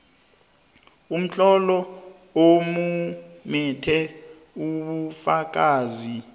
umtlolo omumethe ubufakazi